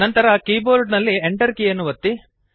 ನಂತರ ಕೀಬೋರ್ಡ್ ನಲ್ಲಿ Enter ಕೀಯನ್ನು ಒತ್ತಿ